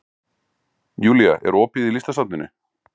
Julia, er opið í Listasafninu?